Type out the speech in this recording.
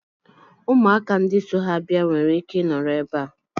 Ụmụaka ndị so ha bịa nwere ike nọrọ ebe a.